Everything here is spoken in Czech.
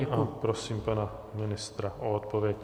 Děkuji a prosím pana ministra o odpověď.